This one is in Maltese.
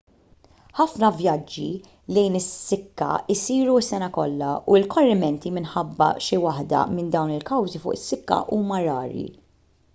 ħafna vjaġġi lejn is-sikka jsiru s-sena kollha u l-korrimenti minħabba xi waħda minn dawn il-kawżi fuq is-sikka huma rari